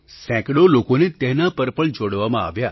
સેંકડો લોકોને તેના પર પણ જોડવામાં આવ્યા